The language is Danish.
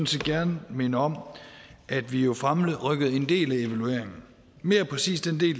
set gerne minde om at vi jo fremrykkede en del af evalueringen mere præcist